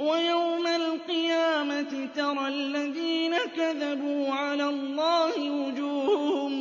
وَيَوْمَ الْقِيَامَةِ تَرَى الَّذِينَ كَذَبُوا عَلَى اللَّهِ وُجُوهُهُم